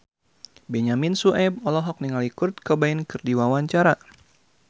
Benyamin Sueb olohok ningali Kurt Cobain keur diwawancara